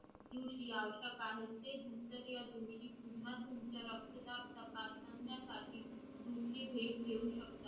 किंवा तुमचे रक्तदाब तपासण्यासाठी दुसरी भेट घेऊ शकता